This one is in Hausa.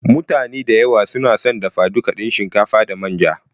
mutane da yawa sunason dafa duka din shinkafa da manja.